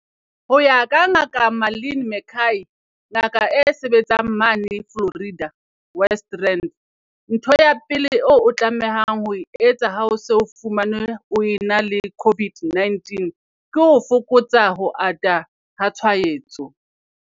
Ho ya ka Ngaka Marlin McCay, ngaka e sebetsang mane Florida, West Rand, ntho ya pele eo o tlamehang ho e etsa ha o se o fumanwe o ena le COVID-19 ke ho fokotsa ho ata ha tshwaetso.